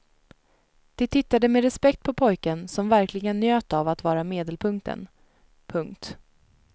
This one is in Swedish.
De tittade med respekt på pojken som verkligen njöt av att vara medelpunkten. punkt